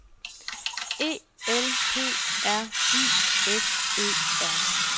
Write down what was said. E L P R I S E R